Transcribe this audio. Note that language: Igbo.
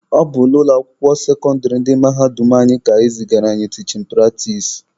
Ọ bụ na ụlọ akwụkwọ sekọndịrị ndị mahadum anyị ka e zigara anyị tichin pratis.